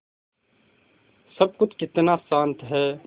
सब कुछ कितना शान्त है